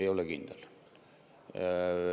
Ei ole kindel.